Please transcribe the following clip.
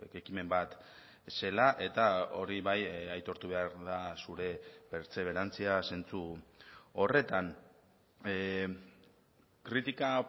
ekimen bat zela eta hori bai aitortu behar da zure pertseberantzia zentzu horretan kritika